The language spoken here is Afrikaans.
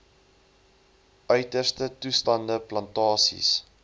uiterste toestande plantasies